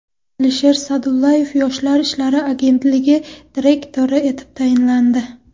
Alisher Sa’dullayev Yoshlar ishlari agentligi direktori etib tayinlandi.